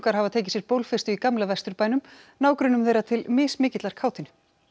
hafa tekið sér bólfestu í gamla Vesturbænum nágrönnum þeirra til mismikillar kátínu